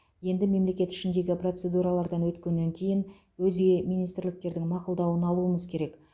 енді мемлекет ішіндегі процедуралардан өткеннен кейін өзге министрліктердің мақұлдауын алуымыз керек